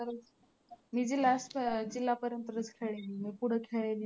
मी last जिल्हापर्यंतच खेळले पुढं खेळले